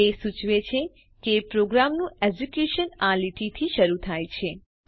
તે સૂચવે છે કે પ્રોગ્રામનું એકઝીક્યુશન આ લીટીથી શરૂ થાય છે